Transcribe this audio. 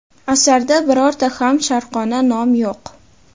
Asarda birorta ham sharqona nom yo‘q.